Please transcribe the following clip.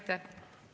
Aitäh!